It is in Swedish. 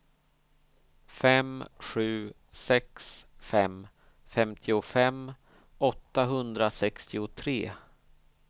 fem sju sex fem femtiofem åttahundrasextiotre